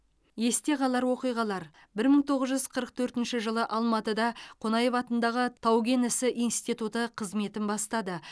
есте қалар оқиғалар бір мың тоғыз жүз қырық төртінші жылы алматыда қонаев атындағы тау кен ісі институты қызметін бастады